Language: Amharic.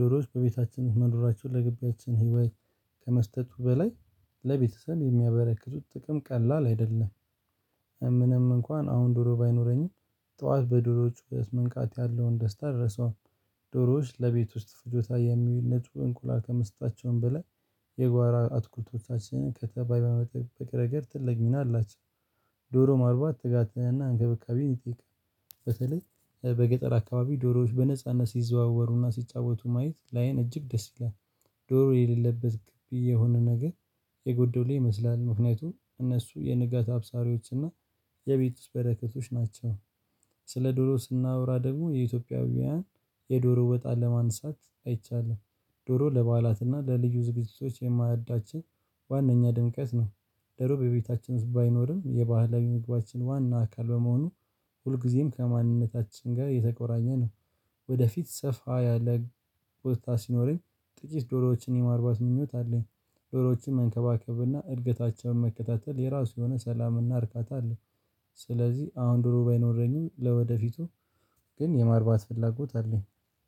ዶሮዎች በቤታችን መኖራቸውን ለገበያችን ህይወት ከመስጠቱ በላይ ለቤተሰብ የሚያበረክቱት ጥቅም ቀላል አይደለም። ምንም እንኳን አሁን ዶሮ ባይኖረኝም ጠዋት በዶሮዎች ጩኸት መንቃት ያለውን ደስታ ደረሰው። ዶሮዎች ለቤት ውስጥ ፍጆታ የሚውሉ ናቸው እንቁላል ከመስጠታቸውም በላይ የጓሮ አትክልቶቻችንን ከተባይ በመጠበቅ ረገድ ትልቅ ሚና አላቸው። ዶሮ ማርባት ትጋትና እንክብካቤን ይጠይቃል። በተለይ በገጠር አካባቢ ዶሮዎች በነጻነት ሲዘዋወሩና ሲጫወቱ ማየት ላይን እጅግ ደስ ይላል። ዶሮ የሌለበት ግቢ የሆነ ነገር የጎደለ ይመስላል። ምክንያቱም እነሱ የንጋት አብሳሪዎች እና የቤት ውስጥ በረከቶች ናቸው። ስለ ዶሮ ስናወራ ደግሞ የኢትዮጵያውያን የዶሮ ወጥ አለማንሳት አይቻልም። ዶሮ ለበዓላትና ለልዩ ዝግጅቶች የማዕዳችኝ ዋናኛ ድምቀት ነው። ዶሮ በቤታችን ውስጥ ባይኖርም የባህላዊ ምግባችን ዋና አካል በመሆኑ ሁልጊዜም ከማንነታችን ጋር የተቆራኘ ነው። ወደ ፊት ሰፋ ያለ ቦታ ሲኖረኝ ጥቂት ዶሮዎችን የማርባት ምኞት አለኝ። ዶሮዎችን መንከባከብና እድገታቸውን መከታተል የራሱ የሆነ ሰላምና እርካታ አለው። ስለዚህ አሁን ዶሮ ባይኖረኝም ለወደፊቱ ግን የማርባት ፍላጎት አለኝ።